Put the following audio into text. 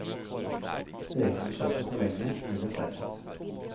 Steker du kjøttet for lenge, blir det seigt.